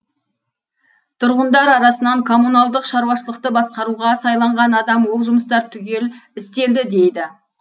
тұрғындар арасынан коммуналдық шаруашылықты басқаруға сайланған адам ол жұмыстар түгел істелді дейді